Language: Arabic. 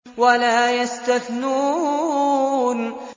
وَلَا يَسْتَثْنُونَ